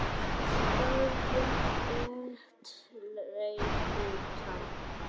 Margrét leit undan.